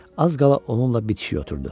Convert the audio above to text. Az qala onunla bitişik oturdu.